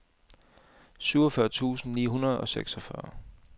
syvogfyrre tusind ni hundrede og seksogfyrre